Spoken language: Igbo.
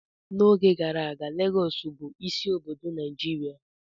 N'oge gara aga, Lagọọsù bụ isi obodo Nigeria